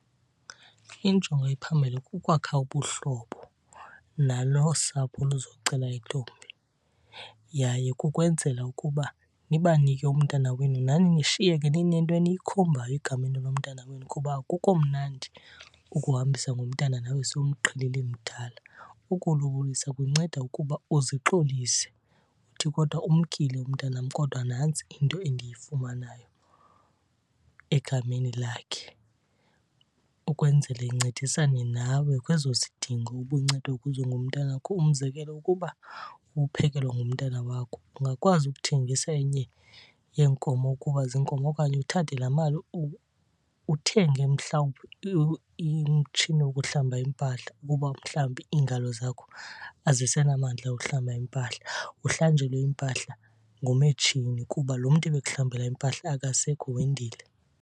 Injongo ephambili kukwakha ubuhlobo nalo usapho oluzocela intombi. Yaye kukwenzela ukuba nibanike umntwana wenu nani nishiyeke ninento eniyikhombayo egameni lomntana wenu, kuba akukho mnandi ukuhambisa ngomntana nawe sowumqhelile emdala. Ukulobolisa kunceda ukuba uzixolise, uthi kodwa umkile umntanam kodwa nantsi into endiyifumanayo egameni lakhe, ukwenzele incedisane nawe kwezo zidingo ubuncedwa kuzo ngumntanakho. Umzekelo, ukuba ubuphekelwa ngumntana wakho ungakwazi ukuthengisa enye yeenkomo ukuba ziinkomo okanye uthathe laa mali uthenge mhlawumbi umtshini wokuhlamba iimpahla ukuba mhlawumbi iingalo zakho azisenamandla ohlamba impahla. Uhlanjelwe impahla ngumetshini kuba lo mntu ebekuhlambela impahla akasekho wendile.